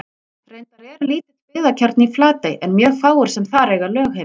Reyndar er lítill byggðakjarni í Flatey en mjög fáir sem þar eiga lögheimili.